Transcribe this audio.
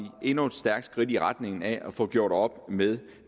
endnu et stærkt skridt i retning af at få gjort op med